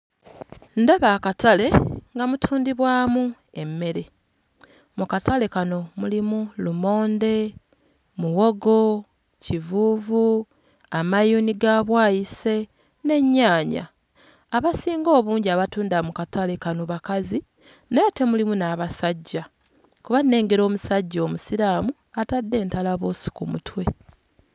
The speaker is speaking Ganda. Ndaba akatale nga mutundibwamu emmere, mu katale kano mulimu lumonde, muwogo, kivuuvu amayuuni ga bwayiise n'ennyaanya. Abasinga obungi abatunda mu katale kano bakazi naye ate mulimu n'abasajja, kuba nnengera omusajja omusiraamu atadde entalabuusi ku mutwe.